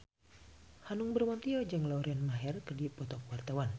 Hanung Bramantyo jeung Lauren Maher keur dipoto ku wartawan